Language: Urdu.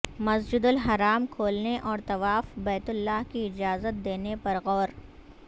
مسجد الحرام کھولنے اور طواف بیت اللہ کی اجازت دینے پر غور